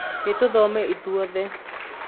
nĩtũthome ithuothe